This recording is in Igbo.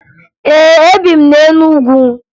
Ee, ebi m na Enugu